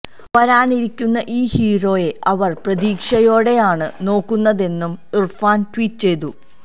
വരാനിരിക്കുന്ന ഈ ഹീറോയെ അവര് പ്രതീക്ഷയോടെയാണ് നോക്കുന്നതെന്നും ഇര്ഫാന് ട്വീറ്റ് ചെയ്തു